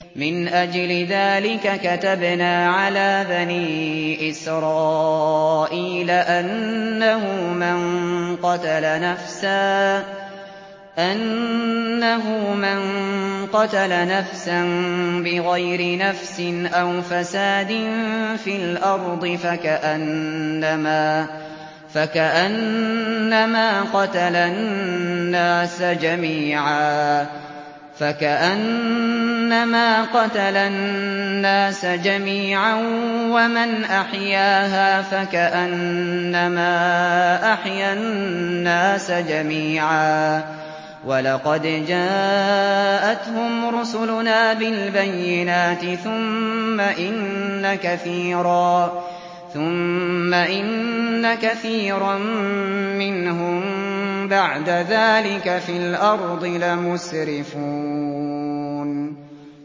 مِنْ أَجْلِ ذَٰلِكَ كَتَبْنَا عَلَىٰ بَنِي إِسْرَائِيلَ أَنَّهُ مَن قَتَلَ نَفْسًا بِغَيْرِ نَفْسٍ أَوْ فَسَادٍ فِي الْأَرْضِ فَكَأَنَّمَا قَتَلَ النَّاسَ جَمِيعًا وَمَنْ أَحْيَاهَا فَكَأَنَّمَا أَحْيَا النَّاسَ جَمِيعًا ۚ وَلَقَدْ جَاءَتْهُمْ رُسُلُنَا بِالْبَيِّنَاتِ ثُمَّ إِنَّ كَثِيرًا مِّنْهُم بَعْدَ ذَٰلِكَ فِي الْأَرْضِ لَمُسْرِفُونَ